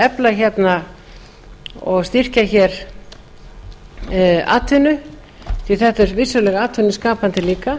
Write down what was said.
efla hérna og styrkja atvinnu því þetta er vissulega atvinnuskapandi líka